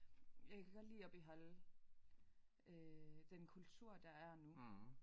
Jeg kan godt lide at beholde øh den kultur der er nu